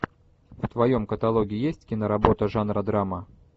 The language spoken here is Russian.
в твоем каталоге есть киноработа жанра драма